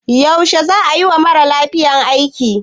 Yaushe za a yi wa mara lafiyan aiki?